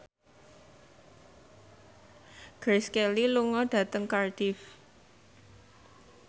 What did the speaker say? Grace Kelly lunga dhateng Cardiff